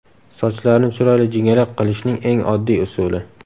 Sochlarni chiroyli jingalak qilishning eng oddiy usuli.